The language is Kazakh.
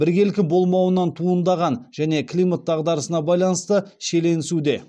біркелкі болмауынан туындаған және климат дағдарысына байланысты шиеленесуде